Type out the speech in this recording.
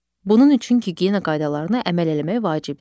Bunun üçün gigiyena qaydalarına əməl eləmək vacibdir.